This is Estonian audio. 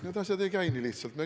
Need asjad ei käi nii lihtsalt.